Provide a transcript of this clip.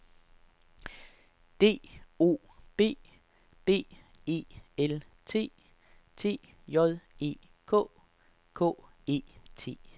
D O B B E L T T J E K K E T